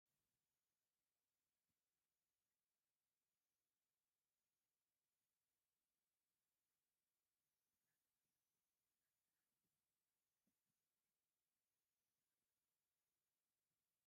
ሙዚቃ ዝቀነባበረሉ ስቱድዮ ይርአ ኣሎ፡፡ እዚ ካብ መድረኽ ወፃኢ ኣብ ገዛ ኩፍ ኢልካ ዝቕረፅ ሙዚቃ ካብ ኣብ መድረኽ ፊት ንፊት ዝቕረፅ ሙዚቃ ብምንታይ ይበልፅ?